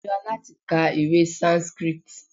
Ó níra láti ka ìwé Sanskrit.